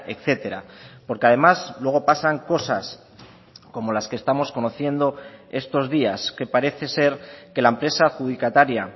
etcétera porque además luego pasan cosas como las que estamos conociendo estos días que parece ser que la empresa adjudicataria